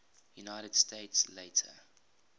united states later